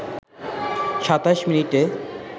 ২৭ মিনিটে